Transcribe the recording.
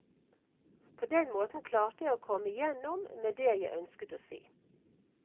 På den måten klarte jeg å komme igjennom med det jeg ønsket å si.